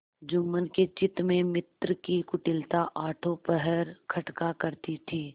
जुम्मन के चित्त में मित्र की कुटिलता आठों पहर खटका करती थी